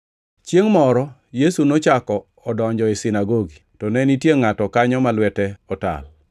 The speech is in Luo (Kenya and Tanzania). Chiengʼ moro Yesu nochako odonjo e sinagogi, to ne nitie ngʼato kanyo ma lwete otal.